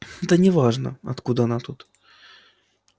да неважно откуда она тут